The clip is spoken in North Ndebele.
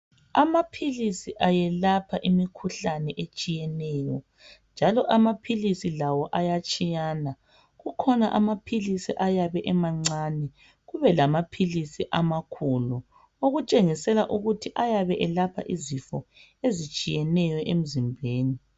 Amaphilisi ayelapha imikhuhlane etshiyeneyo njalo amaphilisi lawo ayatshiyana kukhona amaphilisi ayabe emancane kube lama philisi ama khulu okutshengisela ukuthi ayabe elapha izifo ezitshiyeneyo emzimbeni.